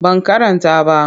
Ban karanta ba.